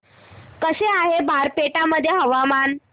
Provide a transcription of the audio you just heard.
कसे आहे बारपेटा मध्ये हवामान